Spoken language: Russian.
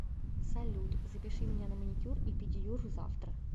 салют запиши меня на маникюр и педиюр завтра